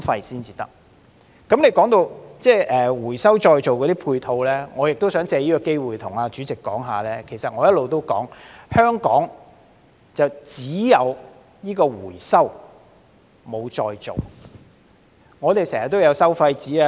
說到回收再造的配套，我也想藉此機會告訴主席，我一直也指出，香港只有回收，但沒有再造。